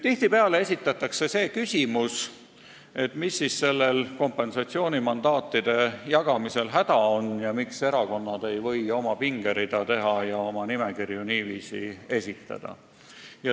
Tihtipeale küsitakse, mis on kompensatsioonimandaatide jagamisel häda ning miks ei võiks erakonnad ise oma pingerida teha ja niiviisi oma nimekirju esitada.